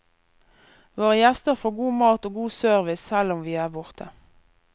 Våre gjester får god mat og god service selv om vi er borte.